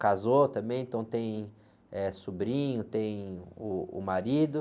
casou também, então tem, eh, sobrinho, tem uh, o marido.